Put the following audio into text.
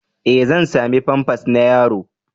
E! Zan sami famfas na yaro.